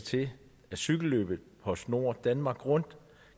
til at cykelløbet postnord danmark rundt